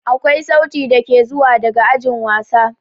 Akwai sauti dake zuwa daga ajin wasa.